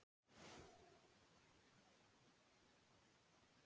Þegar hann var í námi, til dæmis, hafði hann notið þess að eiga frí.